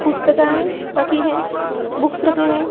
पुस्तके रखी है बुक्स रखे हैं ।